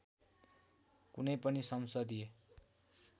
कुनै पनि संसदीय